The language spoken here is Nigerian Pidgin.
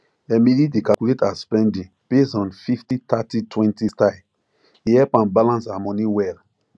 emily dey calculate her spending based on fifty thirty twenty style e help am balance her money well